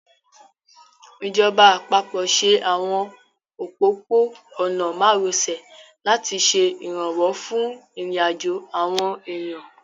Ìjọba àpapọ̀ ṣe àwọn òpópó-ọ̀nà márosẹ̀ láti ṣe ìrànwọ́ fún ìrìnàjò àwọn èèyàn